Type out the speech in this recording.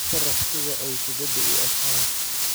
ii sharax sida ay kubbadu u egtahay